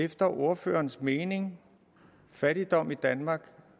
efter ordførerens mening fattigdom i danmark